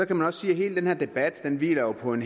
kan også sige at hele den her debat hviler på en